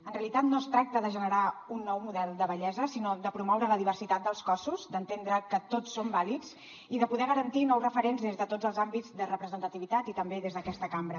en realitat no es tracta de generar un nou model de bellesa sinó de promoure la diversitat dels cossos d’entendre que tots són vàlids i de poder garantir nous referents des de tots els àmbits de representativitat i també des d’aquesta cambra